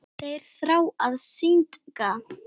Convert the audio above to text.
Þeir þrá að syndga.